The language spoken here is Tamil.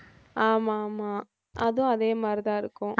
ஆமா ஆமா அதுவும் அதே மாதிரிதான் இருக்கும்